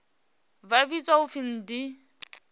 vha vhidzwa u pfi ndi